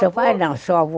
Seu pai não, seu avô.